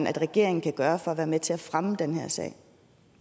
regeringen kan gøre for at være med til at fremme den her sag